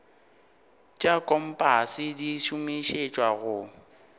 tša kompase di šomišetšwa go